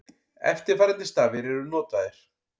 Eftirfarandi stafir eru notaðir: